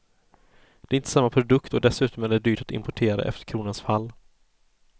Det är inte samma produkt och dessutom är det dyrt att importera efter kronans fall.